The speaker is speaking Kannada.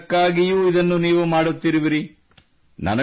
ಪರಿಸರಕ್ಕಾಗಿಯೂ ಇದನ್ನು ನೀವು ಮಾಡುತ್ತಿರುವಿರಿ